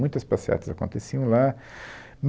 Muitas passeatas aconteciam lá.